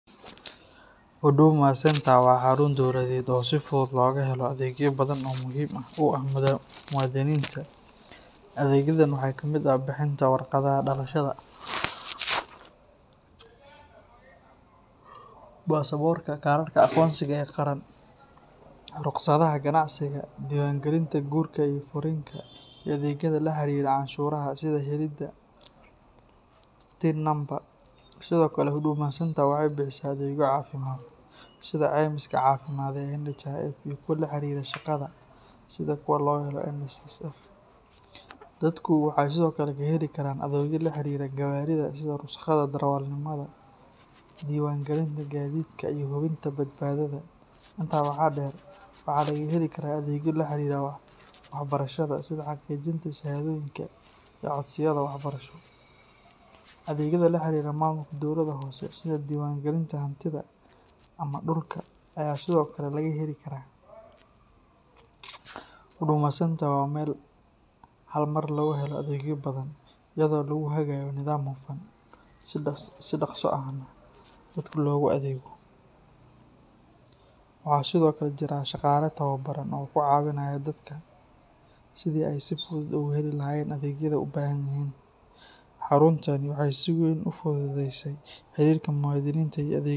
Huduma Centre waa xarun dowladeed oo si fudud loogu helo adeegyo badan oo muhiim u ah muwaadiniinta. Adeegyadan waxaa ka mid ah bixinta warqadaha dhalashada, baasaboorka, kaararka aqoonsiga ee qaran, rukhsadaha ganacsiga, diiwaangelinta guurka iyo furriinka, iyo adeegyada la xiriira canshuuraha sida helidda TIN Number. Sidoo kale, Huduma Centre waxay bixisaa adeegyo caafimaad sida caymiska caafimaadka ee NHIF iyo kuwa la xiriira shaqada sida kuwa laga helo NSSF. Dadku waxay sidoo kale ka heli karaan adeegyo la xiriira gawaarida sida rukhsadda darawalnimada, diiwaangelinta gaadiidka iyo hubinta badbaadada. Intaa waxaa dheer, waxaa laga heli karaa adeegyo la xiriira waxbarashada sida xaqiijinta shahaadooyinka iyo codsiyada waxbarasho. Adeegyada la xiriira maamulka dowladda hoose sida diiwaangelinta hantida ama dhulka ayaa sidoo kale laga heli karaa. Huduma Centre waa meel hal mar lagu helo adeegyo badan, iyadoo lagu hagayo nidaam hufan, si dhaqso ahna dadka loogu adeego. Waxaa sidoo kale jira shaqaale tababaran oo ku caawiya dadka sidii ay si fudud ugu heli lahaayeen adeegyada ay u baahan yihiin. Xaruntani waxay si weyn u fududeysay xiriirka muwaadiniinta iyo.